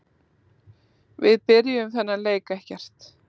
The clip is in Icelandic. Við byrjuðum þennan leik ekkert.